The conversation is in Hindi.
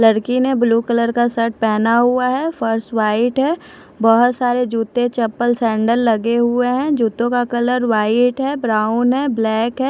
लड़की ने ब्लू कलर का शर्ट पहना हुआ है फर्स वाइट है बहुत सारे जूते चप्पल सैंडल लगे हुए हैं जूतों का कलर वाइट है ब्राउन है ब्लैक है।